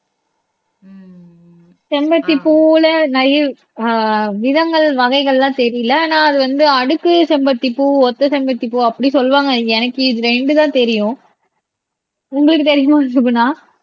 செம்பத்தி பூவுல நிறைய ஆஹ் விதங்கள் வகைகள் எல்லாம் தெரியலே ஆனா அது வந்து அடுக்கு செம்பருத்தி பூ ஒத்த செம்பருத்தி பூ அப்படி சொல்லுவாங்க எனக்கு இது ரெண்டுதான் தெரியும் உங்களுக்கு தெரியுமா சுகுனா